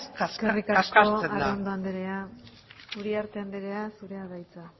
kaskartzen da eskerrik asko arrondo andrea uriarte andrea zurea da hitza